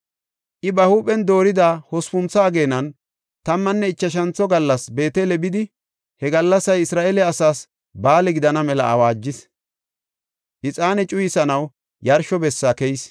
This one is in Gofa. I ba huuphen doorida hospuntho ageenan, tammanne ichashantho gallas Beetele bidi he gallasay Isra7eele asaas ba7aale gidana mela awaajis. Ixaane cuyisanaw yarsho bessa keyis.